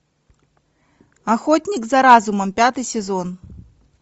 охотник за разумом пятый сезон